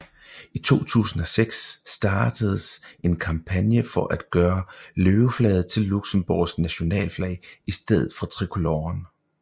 I 2006 startedes en kampagne for at gøre løveflaget til Luxembourgs nationalflag i stedet for tricoloren